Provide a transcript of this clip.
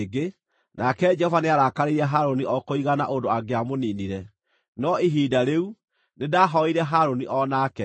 Nake Jehova nĩarakarĩire Harũni o kũigana ũndũ angĩamũniinire, no ihinda rĩu, nĩndahooeire Harũni o nake.